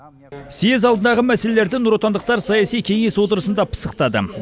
съез алдындағы мәселелерді нұротандықтар саяси кеңес отырысында пысықтады